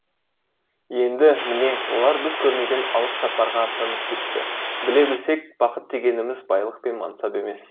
енді міне олар біз көрмеген алыс сапарға аттанып кетті біле білсек бақыт дегеніміз байлық пен мансап емес